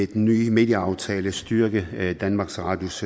den nye medieaftale styrke danmarks radios